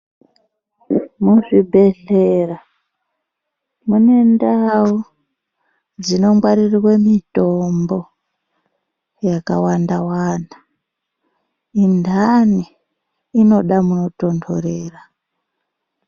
Mu zvibhehlera mune ndau dzino ngwarirerwe mitombo yaka wanda wanda undani inoda muno tondorera.